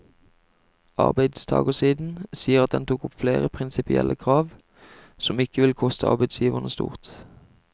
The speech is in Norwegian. Arbeidstagersiden sier at den tok opp flere prinsipielle krav, som ikke vil koste arbeidsgiverne stort.